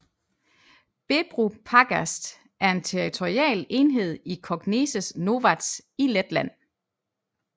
Bebru pagasts er en territorial enhed i Kokneses novads i Letland